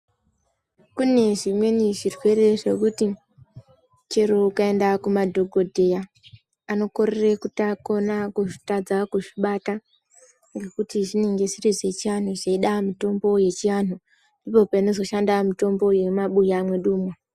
Kune zvimweni zvirwere zvekuti chero ukaenda kumadhokodheya anokona kukorera kutadza kuzvibata ngekuti zvinenge zvichida mutombo yechiantu ndipo panozoshanda mutombo yemumabuya mwedu umu.